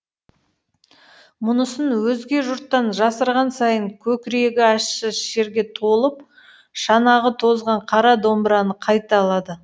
мұнысын өзге жұрттан жасырған сайын көкірегі ащы шерге толып шанағы тозған қара домбыраны қайта алады